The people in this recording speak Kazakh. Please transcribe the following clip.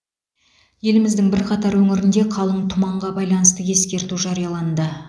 еліміздің бірқатар өңірінде қалың тұманға байланысты ескерту жарияланды